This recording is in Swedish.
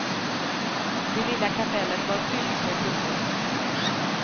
Det lilla kapellet var fyllt med blommor.